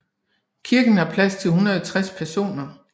Kirken har plads til 160 personer